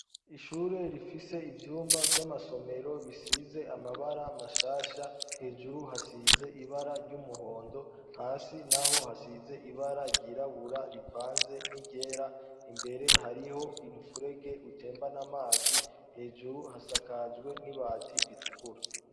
Ishure rifise ivyumba vy'amasomero bisize amabara mashasha hejuru hasize ibara ry'umuhondo hasi na ho hasize ibara ryirabura rivanze n'iryera imbere hariho imupfurege itembana amazi hejuru hasakajwe n'i bati ritukura.